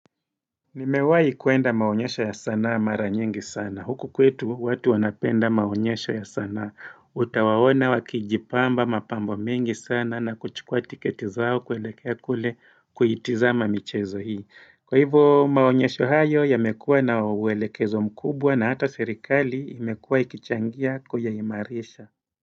Nimewai kwenda maonyesho ya sanaa mara nyingi sana. Huku kwetu watu wanapenda maonyesho ya sanaa. Utawawona wakijipamba mapambo mengi sana na kuchukua tiketi zao kuelekea kule kuitiza michezo hii. Kwa hivo maonyesho hayo yamekua na uwelekezo mkubwa na hata serikali imekua ikichangia kuyayimarisha.